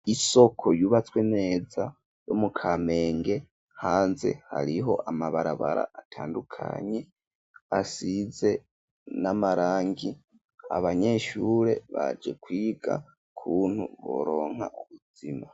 Isoko yubatswe neza yo mu kamenge hanze hariho amabarabara atandukanye asize n'amarangi .Abanyeshure baje kwiga kuntu boronka ubuzima.